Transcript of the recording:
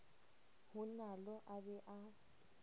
ho nalo a be a